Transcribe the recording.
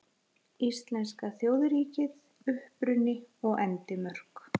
Íslenska þjóðríkið: Uppruni og endimörk.